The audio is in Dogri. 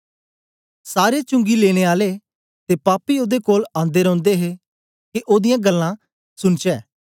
सारे चुंगी लेने आले ते पापी ओदे कोल आंदे रौंदे हे के ओदीयां गल्लां सुनचै